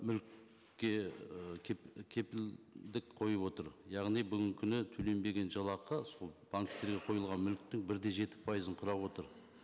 мүлікке ы кепілдік қойып отыр яғни бүгінгі күні төленбеген жалақы сол банктерге қойылған мүліктің бір де жеті пайызын құрап отыр